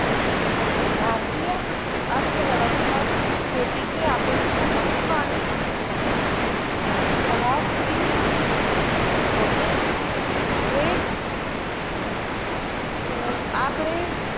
भारतीय अर्थव्यवस्था शेतीचे अपेक्षा महत्व आणि यादकीती होते हे अं आकडे